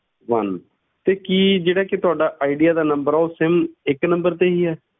One ਤੇ ਕੀ ਜਿਹੜਾ ਕਿ ਤੁਹਾਡਾ ਆਈਡੀਆ ਦਾ number ਹੈ, ਉਹ sim ਇੱਕ number ਤੇ ਹੀ ਹੈ?